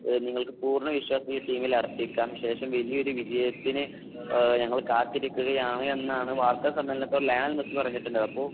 നിങ്ങൾക്ക് പൂർണ വിശ്വാസം ഈ ടീമിൽ അർപ്പിക്കാം . ശേഷം വലിയൊരു വിജയത്തിന് നമ്മൾ കാത്തിരിക്കുകയാണ് എന്നാണ് വാർത്താസമ്മേളനത്തിൽ ലയണൽ മെസ്സി പറഞ്ഞിട്ടുള്ളത് . എന്നാൽ